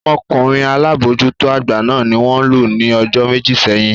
Ọmọkunrin alabojuto agba náà ni won lu ni ojo meji seyin.